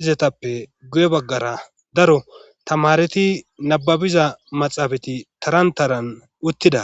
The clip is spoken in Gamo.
izatappe guye baggara daro tamareti nababiza maxaafati taran taran uttida